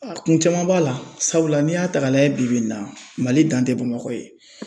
kun caman b'a la, sabula n'i y'a ta k'a lajɛ bi bi in na Mali dan tɛ Bamakɔ ye